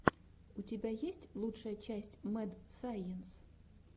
у тебя есть лучшая часть мэд сайенс